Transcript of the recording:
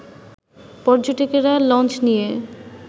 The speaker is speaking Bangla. পর্যটকেরা লঞ্চ নিয়ে